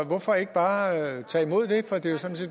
hvorfor ikke bare tage imod